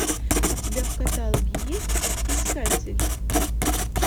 у тебя в каталоге есть искатель